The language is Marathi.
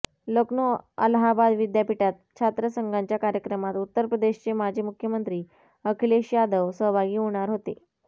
लखनौ अलाहाबाद विद्यापीठात छात्रसंघाच्या कार्यक्रमात उत्तर प्रदेशचे माजी मुख्य़मंत्री अखिलेश यादव सहभागी होणार होते